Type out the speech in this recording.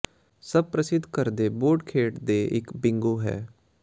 ਸਭ ਪ੍ਰਸਿੱਧ ਘਰ ਦੇ ਬੋਰਡ ਖੇਡ ਦੇ ਇੱਕ ਬਿੰਗੋ ਹੈ